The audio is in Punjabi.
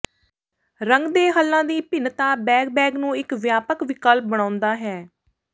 ਰੰਗ ਦੇ ਹੱਲਾਂ ਦੀ ਭਿੰਨਤਾ ਬੈਗ ਬੈਗ ਨੂੰ ਇੱਕ ਵਿਆਪਕ ਵਿਕਲਪ ਬਣਾਉਂਦਾ ਹੈ